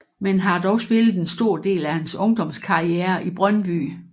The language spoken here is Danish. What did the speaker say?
Men har dog spillet en stor del af hans ungdomskarriere i Brøndby